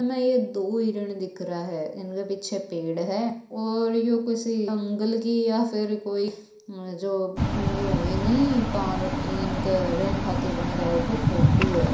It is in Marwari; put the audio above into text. में ये दो हिरन दिख रहा है इनके पीछे पेड़ है और यो किसी जंगल की या फिर कोई जो यो होवे नि पार्क इनके रहन खातिर बन रिया है उकी फोटो है।